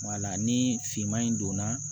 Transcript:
ni finman in donna